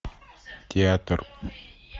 театр